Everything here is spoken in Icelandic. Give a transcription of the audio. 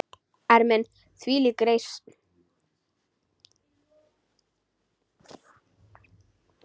Ermin: þvílík reisn!